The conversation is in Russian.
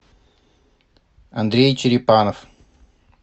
андрей черепанов